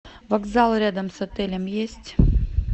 вокзал рядом с отелем есть